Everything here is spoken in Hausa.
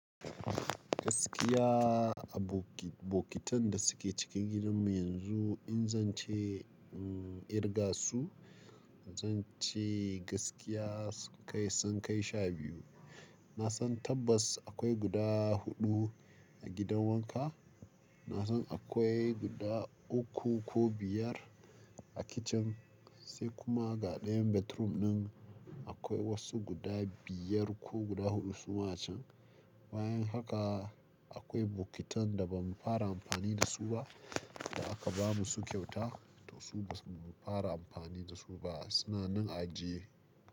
Gaskiya a bok-bokitan da suke cikin gidanmu yanzu in zan ce, mm, irga su, zan ce gaskiya kai sun kai sha biyu. Na san tabbas akwai guda huɗu a gidan wanka. Na san akwai guda uku ko biyar a kicin, sai kuma ga ɗayan bedroom ɗin akwai wasu guda biyar ko guda huɗu suma can. Bayan haka akwai bokitan da ba mu fara amfani da su ba, da aka ba mu su kyauta to su ba mu fara amfani da su ba, suna nan a ajiye.